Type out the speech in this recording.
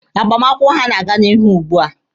Agbamakwụkwọ ha na-aga n'ihu ugbua.